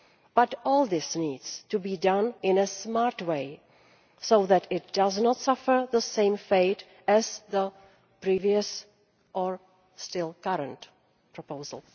But all this needs to be done in a smart way so that this does not suffer the same fate as the previous, or still current, proposal.